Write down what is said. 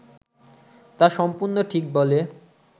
তা সম্পূর্ণ ঠিক বলে